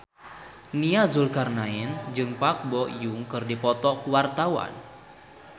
Nia Zulkarnaen jeung Park Bo Yung keur dipoto ku wartawan